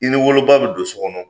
I n'i woloba be don so kɔnɔ